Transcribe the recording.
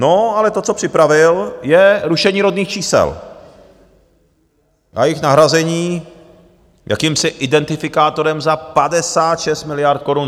No ale to, co připravil, je rušení rodných čísel a jejich nahrazení jakýmsi identifikátorem za 56 miliard korun.